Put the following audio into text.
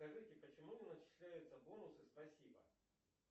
скажите почему не начисляются бонусы спасибо